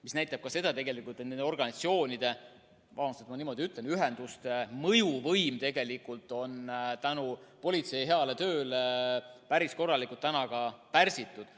See näitab ka seda, et nende organisatsioonide – vabandust, et ma niiviisi ütlen –, ühenduste mõjuvõim on tänu politsei heale tööle päris korralikult pärsitud.